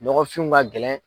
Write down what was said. Nɔgɔfinw ka gɛlɛn.